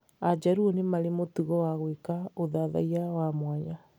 Ajaruo nĩ marĩ mũtugo wa gwĩka ũthathaiya wa mwanya